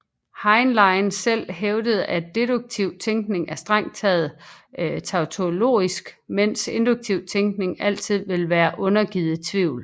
Heinlein selv hævdede at deduktiv tænkning er strengt taget tautologisk mens induktiv tænkning altid vil være undergivet tvivl